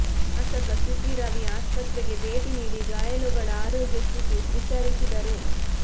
ಶಾಸಕ ಸಿಟಿ ರವಿ ಆಸ್ಪತ್ರೆಗೆ ಭೇಟಿ ನೀಡಿ ಗಾಯಾಳುಗಳ ಆರೋಗ್ಯ ಸ್ಥಿತಿ ವಿಚಾರಿಸಿದರು